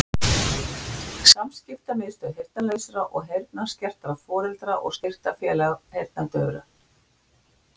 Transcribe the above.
Samskiptamiðstöð heyrnarlausra og heyrnarskertra Foreldra- og styrktarfélag heyrnardaufra